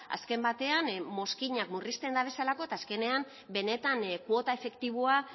azken batean mozkinak murrizten dabezalako eta azkenean benetan kuota efektiboa